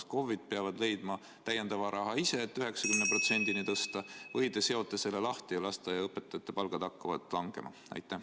Kas KOV-id peavad leidma täiendava raha ise, et tõsta palgad 90%-ni, või te seote selle lahti ja lasteaiaõpetajate palgad hakkavad langema?